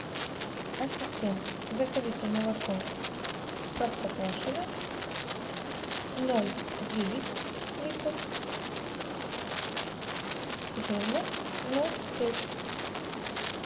ассистент закажите молоко простоквашино ноль девять литров жирность ноль пять